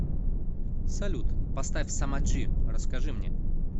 салют поставь самаджи расскажи мне